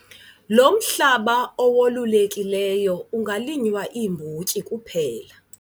Lo mhlaba owolulekileyo ungalinywa iimbotyi kuphela.